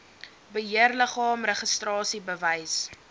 beheerliggaam registrasie bewys